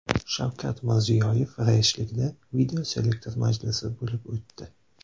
Shavkat Mirziyoyev raisligida videoselektor majlis bo‘lib o‘tdi.